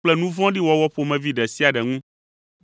kple nu vɔ̃ɖi wɔwɔ ƒomevi ɖe sia ɖe ŋu.